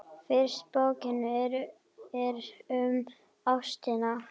Fyrsta bókin er um ástina.